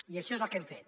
i això és el que hem fet